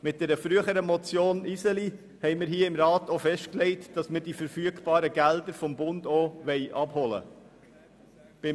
Mit einer früheren Motion haben wir hier im Rat festgelegt, dass wir verfügbare Gelder des Bundes auch abholen wollen.